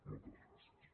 moltes gràcies